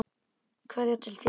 Kveðja til þín.